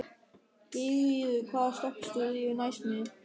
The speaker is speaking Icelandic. Geirríður, hvaða stoppistöð er næst mér?